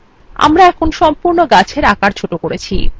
আমরা সম্পূর্ণ গাছের আকার ছোট করেছি !